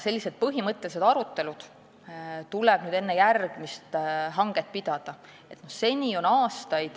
Sellised põhimõttelised arutelud tuleb meil enne järgmist hanget pidada.